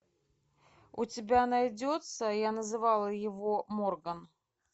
у тебя найдется я называла его морган